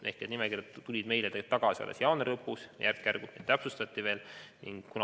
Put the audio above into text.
Need nimekirjad tulid meile tagasi alles jaanuari lõpus, järk-järgult neid veel täpsustati.